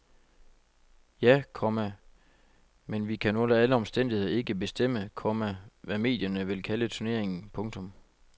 Ja, komma men vi kan under alle omstændigheder ikke bestemme, komma hvad medierne vil kalde turneringen. punktum